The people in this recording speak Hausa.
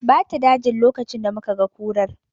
Ba ta dajin lokacin da muka ga kurar